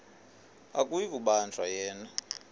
akuyi kubanjwa yena